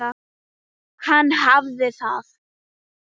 Hann hafði það.